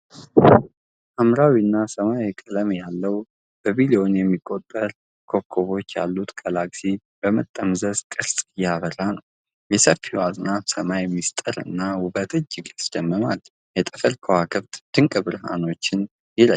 ሐምራዊና ሰማያዊ ቀለም ያለው፣ በቢሊዮን የሚቆጠሩ ኮከቦች ያሉት ጋላክሲ በመጠምዘዝ ቅርጽ እያበራ ነው። የሰፊው አጽናፈ ሰማይ ምስጢር እና ውበት እጅግ ያስደምማል። የጠፈር ከዋክብት ድንቅ ብርሃናቸውን ይረጫሉ።